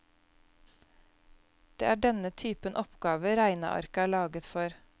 Det er denne typen oppgaver regnearket er laget for.